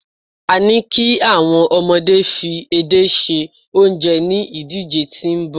a ni ki awon omode fi edé se onje ni idije ti nbọ